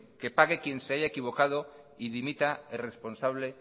que pague quien se haya equivocado y dimita el responsable